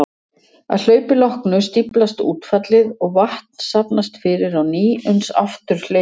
Að hlaupi loknu stíflast útfallið og vatn safnast fyrir á ný uns aftur hleypur.